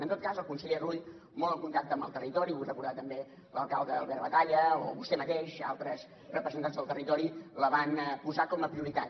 en tot cas el conseller rull molt en contacte amb el territori vull recordar també l’alcalde albert batalla o vostè mateix altres representants del territori la van posar com a prioritat